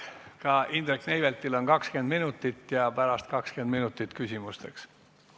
Ka Indrek Neiveltil on aega 20 minutit ettekandeks ja pärast 20 minutit küsimustele vastamiseks.